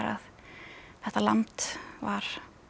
þetta land var